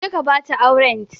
Ka je ka ba da aurents.